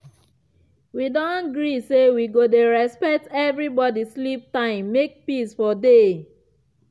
wi don agree say we go dey respect everi body sleep time make peace for dey.